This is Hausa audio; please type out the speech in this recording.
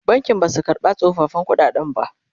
bankin Basu karɓa tsofaffin ƙuɗaden ba